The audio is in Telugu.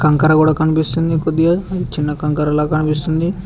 కంకర కూడా కనిపిస్తుంది కొద్దిగా చిన్న కంకర లాగా కనిపిస్తుంది.